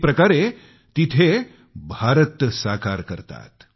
एक प्रकारे तिथं भारत साकार करतात